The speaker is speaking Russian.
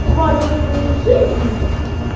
два часа своей жизни